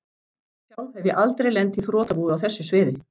Sjálf hef ég aldrei lent í þrotabúi á þessu sviði.